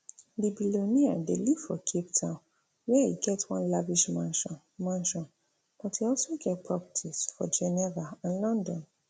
di billionaire dey live for cape town wia e get one lavish mansion mansion but e also get properties for geneva and london